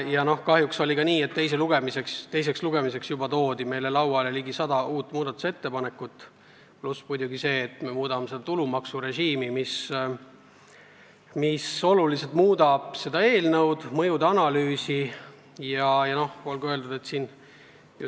Ja kahjuks oli nii, et teiseks lugemiseks toodi meile lauale ligi sada uut muudatusettepanekut, pluss see, et me muudame tulumaksurežiimi, mis oluliselt mõjutab eelnõu mõjude analüüsi.